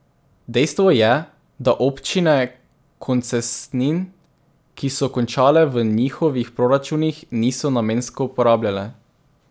Dejstvo je, da občine koncesnin, ki so končale v njihovih proračunih, niso namensko porabljale.